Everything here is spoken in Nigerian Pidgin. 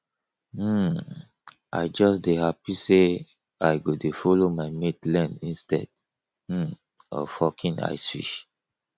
um i just dey happy say i go dey follow my mates learn instead um of hawking ice fish